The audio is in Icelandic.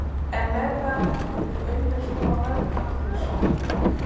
En með hvaða hætti vill Auður snúa vörn aftur í sókn?